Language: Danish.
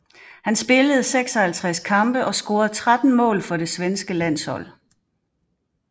Han spillede 56 kampe og scorede 13 mål for det svenske landshold